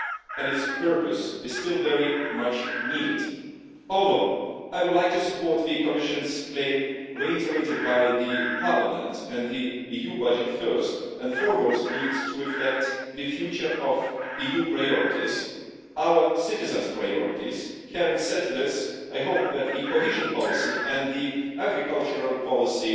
and its purpose is still very much needed. Although I would like to support the Commission's claim, reiterated by Parliament, and the EU budget first and foremost needs to reflect the future of the EU priorities, our citizens' priorities, having said this, I hope that cohesion policy and agricultural policy